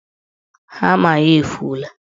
Hama ya efuola.